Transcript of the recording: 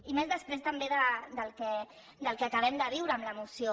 i més després també del que acabem de viure amb la moció